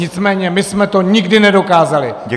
Nicméně my jsme to nikdy nedokázali.